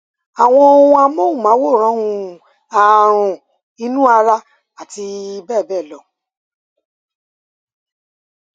àwọn ohun amóhùnmáwòrán um ààrùn inú ara àti bẹẹ bẹẹ lọ